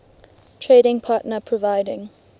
trading partner providing